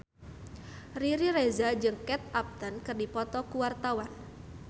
Riri Reza jeung Kate Upton keur dipoto ku wartawan